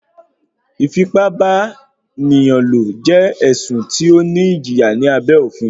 ìfìpábánilò jẹ ẹ̀sùn tí ó ní ìjìyà ní abẹ́ òfin.